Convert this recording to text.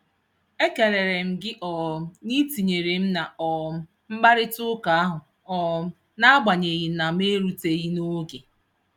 Ekelere m gị um na I tinyere m na um mkparịtaụka ahụ um n'agbanyeghị na m eruteghị n'oge.